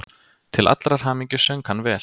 Til allrar hamingju söng hann vel!